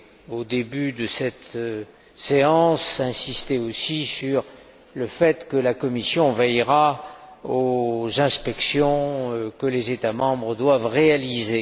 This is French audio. Au début de cette séance, j'ai aussi insisté sur le fait que la Commission veillera aux inspections que les États membres doivent réaliser.